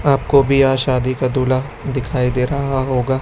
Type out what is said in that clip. आपको भी शादी का दूल्हा दिखाई दे रहा होगा।